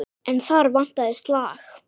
En þar vantaði slag.